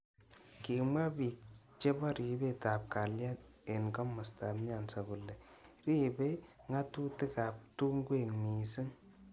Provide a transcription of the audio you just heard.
Kimwa bik chebo ribik ab kalyet eng kimostab nyanza kole ribei ngatutik ab tungwek mising.